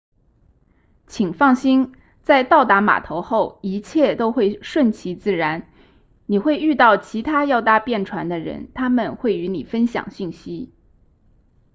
请放心在到达码头后一切都会顺其自然你会遇到其他要搭便船的人他们会与你分享信息